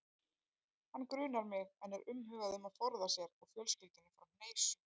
Hann grunar mig, en er umhugað um að forða sér og fjölskyldunni frá hneisu.